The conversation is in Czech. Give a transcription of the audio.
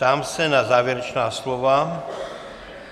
Ptám se na závěrečná slova.